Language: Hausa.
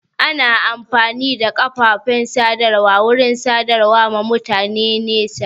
Ana amfani da kafofin sadarwa wurin sadarwa ma mutane da nesa